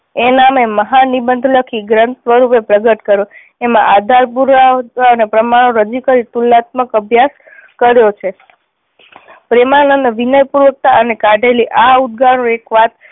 એ નામે મહા નિબંધ લખી ગ્રંથ વડે પ્રગટ કર્યો એમાં આધાર પૂરક પ્રમાણો રજૂ કરી તુલનાત્મક અભ્યાસ કર્યો છે. પ્રેમાનંદ વિનય પૂર્વકતા અને કાઢેલી આ એક વાત